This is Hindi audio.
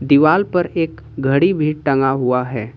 दिवाल पर एक घड़ी भी टंगा हुआ है।